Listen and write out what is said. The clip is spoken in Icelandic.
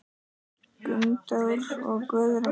Gunndór og Guðrún.